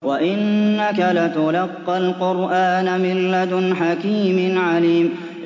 وَإِنَّكَ لَتُلَقَّى الْقُرْآنَ مِن لَّدُنْ حَكِيمٍ عَلِيمٍ